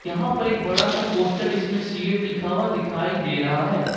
यहां पर एक बड़ा सा पोस्ट जिसमें सीएट लिखा हुआ दिखाई दे रहा है।